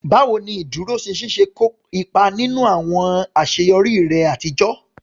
Báwo ni ìdúróṣinṣin ṣe kó ipa nínú àwọn àṣeyọrí rẹ àtijọ́?